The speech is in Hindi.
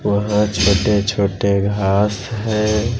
वहां छोटे छोटे घास है।